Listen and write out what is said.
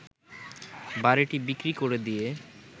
বাড়িটি বিক্রি করে দিয়ে